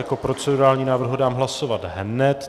Jako procedurální návrh ho dám hlasovat hned.